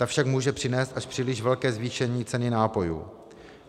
Ta však může přinést až příliš velké zvýšení ceny nápojů.